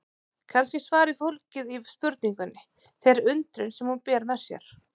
Kannski er svarið fólgið í spurningunni, þeirri undrun sem hún ber með sér.